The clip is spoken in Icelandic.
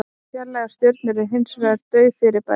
Fjarlægar stjörnur eru hins vegar dauf fyrirbæri.